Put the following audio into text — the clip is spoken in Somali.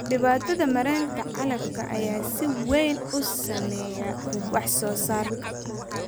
Dhibaatada maaraynta calafka ayaa si weyn u saameeya wax soo saarka.